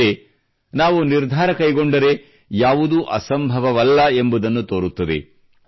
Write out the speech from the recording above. ಅಲ್ಲದೆ ನಾವು ನಿರ್ಧಾರ ಕೈಗೊಂಡರೆ ಯಾವುದೂ ಅಸಂಭವವಲ್ಲ ಎಂಬುದನ್ನು ತೋರುತ್ತದೆ